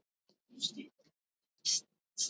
Er það hann?